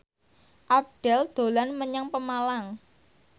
Abdel dolan menyang Pemalang